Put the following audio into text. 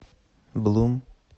блум